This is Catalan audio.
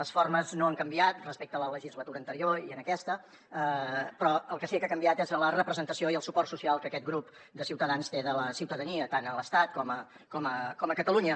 les formes no han canviat respecte a la legislatura anterior en aquesta però el que sí que ha canviat és la representació i el suport social que aquest grup de ciutadans té de la ciutadania tant a l’estat com a catalunya